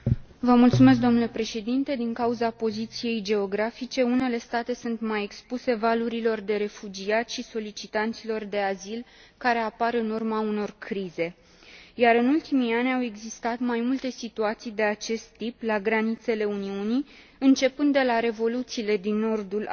Din cauza poziției geografice, unele state sunt mai expuse valurilor de refugiați și solicitanților de azil care apar în urma unor crize, iar, în ultimii ani, au existat mai multe situații de acest tip la granițele Uniunii, începând de la revoluțiile din nordul Africii și până